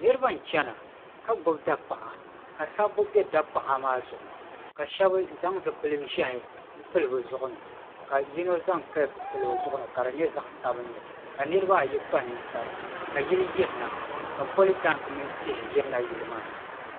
Niriba n chena ka gbibi dapaɣa ka sabbu be dapaɣa maa zuɣu ka sheba zaŋ zipil'ʒehi n pili bɛ zuɣu ni ka yino zaŋ kapu pili o zuɣu ni ka di nyɛ zaɣa sabinli ka niriba ayi kpa ninkpara ka yili yirina ka politanki mini tihi yirina yili maa ni.